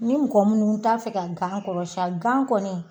Ni mɔgɔ munnu t'a fɛ ka gan kɔrɔsan gan kɔni